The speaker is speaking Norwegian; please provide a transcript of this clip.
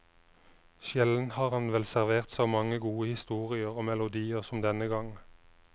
Sjelden har han vel servert så mange gode historier og melodier som denne gang.